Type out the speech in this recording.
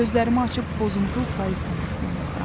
Gözlərimi açıb pozuntul payız səmasına baxıram.